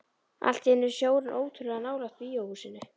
Allt í einu er sjórinn ótrúlega nálægt bíóhúsinu.